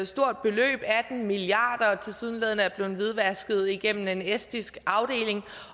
stort beløb atten milliard kr tilsyneladende er blevet hvidvasket gennem en estisk afdeling